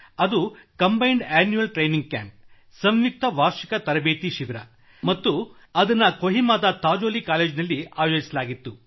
ಅದು combined annual training camp ಸಂಯುಕ್ತ ವಾರ್ಷಿಕ ತರಬೇತಿ ಶಿಬಿರ ಮತ್ತು ಅದನ್ನು ಕೊಹಿಮಾದ ಥಾಜೋಲಿ ಕಾಲೇಜಿನಲ್ಲಿ ಆಯೋಜಿಸಲಾಗಿತ್ತು